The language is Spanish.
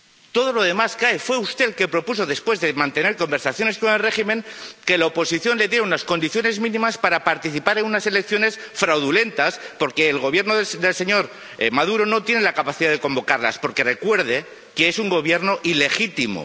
Todo lo demás cae fue usted el que propuso, después de mantener conversaciones con el régimen, que la oposición le diera unas condiciones mínimas para participar en unas elecciones fraudulentas, porque el Gobierno del señor Maduro no tiene la capacidad de convocarlas, porque recuerde que es un Gobierno ilegítimo.